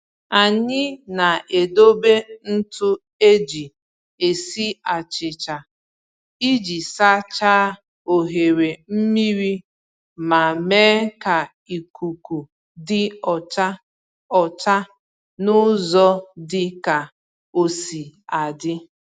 Anyị na-edobe ntụ eji esi achịcha iji sachaa oghere mmiri ma mee ka ikuku dị ọcha ọcha n’ụzọ dị ka osi adị